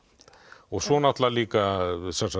og svo náttúrulega líka